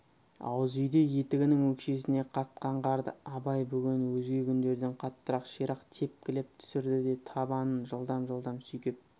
ауыз үйде етігінің өкшесіне қатқан қарды абай бүгін өзге күндерден қаттырақ ширақ текпілеп түсірді де табанын жылдам-жылдам сүйкеп